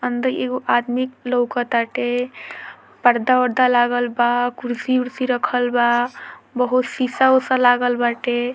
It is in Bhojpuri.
अंदर एगो आदमी लउकताते पर्दा-उर्दा लागल बा कुर्शी-उर्शी रखल बा बहुत शीशा उषा लागल बाटे |